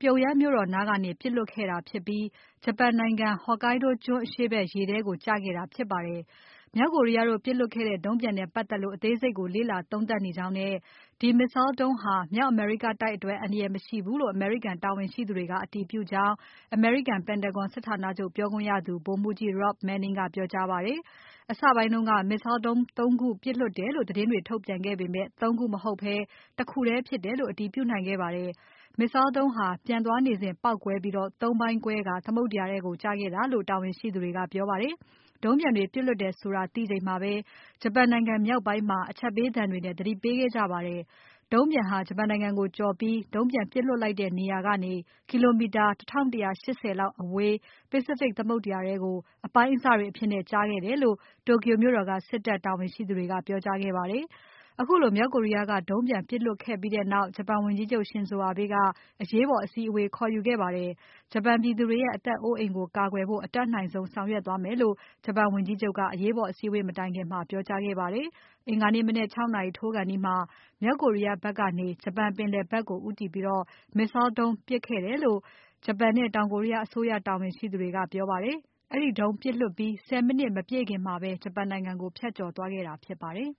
Pyongyang မြို့တော်နားကနေ ပစ်လွှတ်ခဲ့တာဖြစ်ပြီး ဂျပန်နိုင်ငံ Hokkaido ကျွန်းအရှေ့ဖက် ရေထဲကို ကျခဲ့တာဖြစ်ပါတယ်။ မြောက်ကိုရီးယားတို့ ပစ်လွှတ်ခဲ့တဲ့ ဒုံးပျံနဲ့ပတ်သက်လို့ အသေးစိတ်ကို လေ့လာသုံးသပ်နေကြောင်းနဲ့ ဒီ Missile ဒုံးဟာ မြောက်အမေရိကတိုက် အတွက် အန္တရာယ်မရှိဘူးလို့ အမေရိကန်တာဝန်ရှိသူတွေက အတည်ပြုကြောင်း အမေရိကန် Pentagon စစ်ဌာနချုပ်ပြောခွင့်ရသူ ဗိုလ်မှူးကြီး Rob Manning ကပြောကြားပါတယ်။ အစပိုင်းက Missile ဒုံး ၃ ခုပစ်လွှတ်လိုက်တယ်လို့ သတင်းတွေထုတ်ပြန်ခဲ့ပေမယ့် ၃ ခုမဟုတ်ဘဲ ၁ ခုထဲ ဖြစ်တယ်လို့ အတည်ပြုနိုင်ခဲ့ပါတယ်။ Missile ဒုံးဟာ ပျံသွားနေစဉ်ပေါက်ကွဲပြီး ၃ ပိုင်းကွဲကာ သမုဒ္ဒရာထဲကို ကျခဲ့တာလို့ တာဝန်ရှိသူတွေက ပြောပါတယ်။ ဒုံးပျံတွေပစ်လွှတ်လိုက်တယ်ဆိုတာ သိချိန်မှာပဲ ဂျပန်နိုင်ငံမြောက်ပိုင်းမှာ အချက်ပေးသံတွေနဲ့ သတိပေးခဲ့ကြပါတယ်။ ဒုံးပျံဟာ ဂျပန်နိုင်ငံကိုကျော်ပြီး ဒုံးပျံပစ်လွှတ်လိုက်တဲ့နေရာကနေ ကီလိုမီတာ ၁၁၈၀ လောက်အဝေး Pacific သမုဒ္ဒရာထဲကို အပိုင်းအစတွေအဖြစ် ကျခဲ့တယ်လို့ Tokyo မြို့တော်က စစ်တပ်တာဝန်ရှိသူတွေက ပြောကြားခဲ့ပါတယ်။ ခုလိုမြောက်ကိုရီးယားက ဒုံးပျံပစ်လွှတ်ခဲ့ပြီးနောက် ဂျပန်ဝန်ကြီးချုပ် Shinzo Abe က အရေးပေါ် အစည်းအဝေးခေါ်ခဲ့ပါတယ်။ ဂျပန်ပြည်သူတွေရဲ့ အသက်အိုးအိမ်ကို ကာကွယ်ဖို့ အတတ်နိုင်ဆုံး ဆောင်ရွက်သွားမယ်လို့ ဂျပန်ဝန်ကြီးချုပ်က အရေးပေါ်အစည်းအဝေးမတိုင်ခင် ပြောကြားခဲ့ပါတယ်။ အင်္ဂါနေ့မနက် ၆ နာရီထိုးခါနီးမှာ မြောက်ကိုရီးယားဖက်ကနေ ဂျပန်ပင်လယ်ဖက်ကို ဦးတည်ပြီး Missile ဒုံးပစ်ခဲ့တယ်လို့ ဂျပန်နဲ့ တောင်ကိုရီးယားအစိုးရတာဝန်ရှိသူတွေက ပြောပါတယ်။ အဲဒီဒုံးပစ်လွှတ်ပြီး ၁၀ မိနစ် မပြည့်ခင်မှာပဲ ဂျပန်နိုင်ငံကို ဖြတ်ကျော်သွားခဲ့တာဖြစ်ပါတယ်